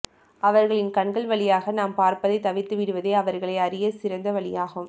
அவர்களின் கண்கள் வழியாக நாம் பார்ப்பதை தவிர்த்து விடுவதே அவர்களை அறிய சிறந்த வழியாகும்